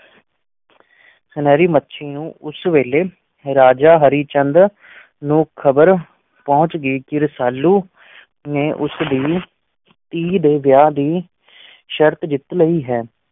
ਸੁਨਹਿਰੀ ਮੱਛੀ ਨੂੰ ਉਸ ਵੇਲੇ ਰਾਜਾ ਹਰੀ ਚੰਦ ਨੂੰ ਖ਼ਬਰ ਪਹੁੰਚ ਗਈ ਕਿ ਰਸਾਲੂ ਨੇ ਉਸ ਦੀ ਧੀ ਦੇ ਵਿਆਹ ਦੀ ਸ਼ਰਤ ਜਿੱਤ ਲਈ ਹੈ।